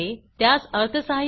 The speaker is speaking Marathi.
अधिक माहितीसाठी पुढील लिंक पहा